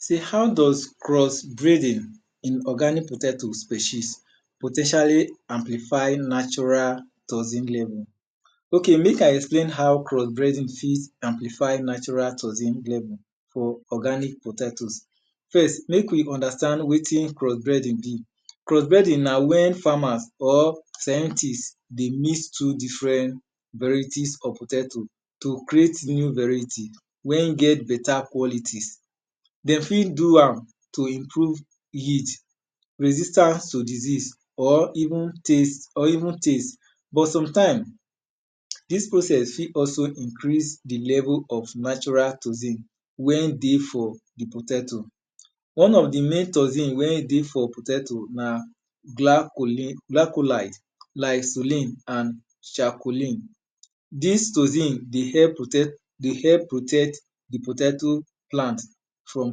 E sey how does cross breeding in orgaic potato species po ten tially amplify natural toxin level? Ok mek I explain how cross breeding fit amplified natural toxin level for natural toxin level. Cross breeding na wen farmers or scientist dey mix two different varieties of potato to creat new variet wen get beta quality. Dem fit do am to improve yield resistance to diseas or even taste. But sometime, dis process fit also increase di level of natural toxin wen dey for potato. One of di main toxin wen dey for potato na glacholide, lisolin and chacolin. Dis toxin dey help protect di potato plant from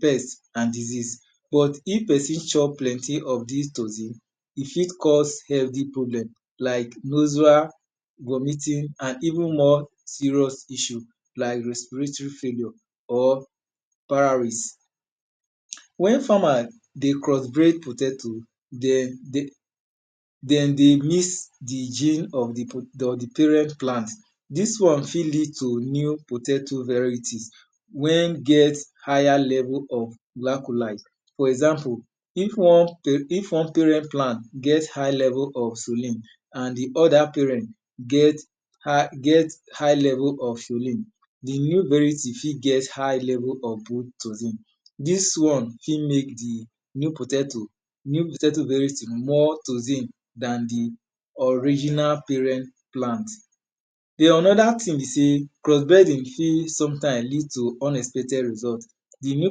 pest and disease but if pesin chop plenty of dis toxin, e fit cause healthy problem like vomiting and even more serious issue like respiratory failure or pararis. Wen farmer dey cross breed potato, den dey mix di gene of di parent plant, dis one fit lead to new potato varieties wen get higher level of glacholide. For example if one parent plant get high level of sullen and di other parent get high level of sullen, di new variety fir get high level of toxin dis one fit mek di new potato variety more toxin dan di original parent plant. Den oonoda thing be sey cross breeding fit sometime lead to unexpected result, di new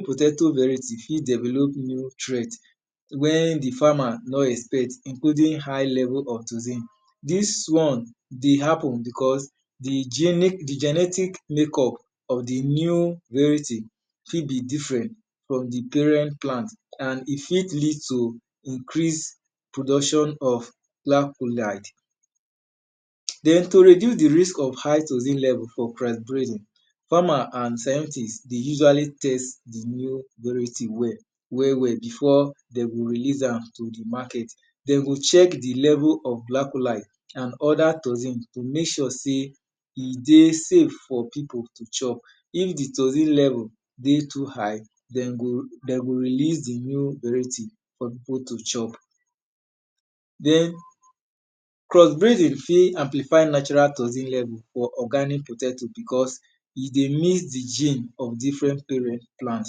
potato variety fit develop new threat wen di farmer no expect in holding high level of toxin. Dis won dey happen beause di genetic makeup of di new variety fit be different from di parent plant and e fit lead to increased production of glacholide. Den to reduce di risk of hight toxin level for cross breeding, farmers and scientist dey usually test di new variety well well before de go reease am to market. Dem go chck di level of glacholide and other toxin to mek sure sey e dey save for pipu to chop. If di toxin level dey too too high, den go releas di new variety for pipu to chop. Den crossbreeding fit amplified natural toxin level for organic potato because e d ey mix di gene of different parent plant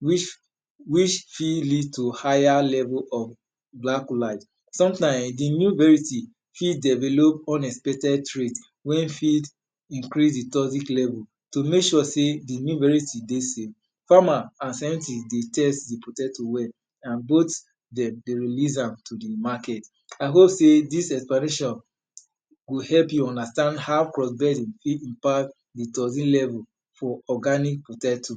which fit lead to higher level pf glacholide. Sometime, di new variety fit develop unexpected trait wen fit increase di toxic level to mek sure sey di new variety dey save. Farmers and scientist dey test di potato well and dey release am to di market. I hope sey dis explanation go help you understand how crossbreeding fit impared d toxin level for organic potato.